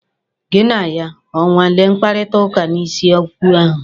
Gị na ya o nweele mkparịkọtaụka n'isi okwu ahụ?